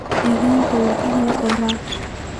Deegaanka waa in la dhowraa.